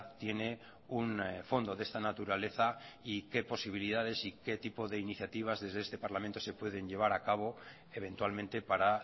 tiene un fondo de esta naturaleza y qué posibilidades y qué tipo de iniciativas desde este parlamento se pueden llevar a cabo eventualmente para